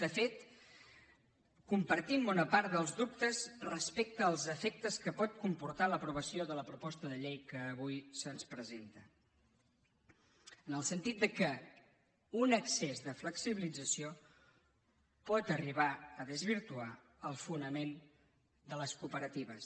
de fet compartim bona part dels dubtes respecte als efectes que pot comportar l’aprovació de la proposta de llei que avui se’ns presenta en el sentit que un excés de flexibilització pot arribar a desvirtuar el fonament de les cooperatives